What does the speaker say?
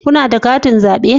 Kuna da katin zabe?